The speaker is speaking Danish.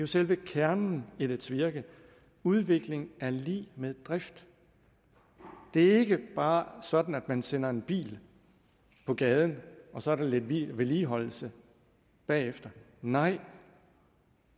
selve kernen i dets virke udvikling er lig med drift det er ikke bare sådan at man sender en bil på gaden og så er der lidt vedligeholdelse bagefter nej